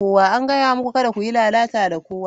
An gaya muku kada ku yi lalata da kowa!